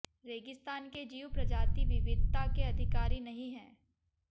रेगिस्तान के जीव प्रजाति विविधता के अधिकारी नहीं है